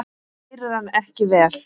Þá heyrir hann ekki vel.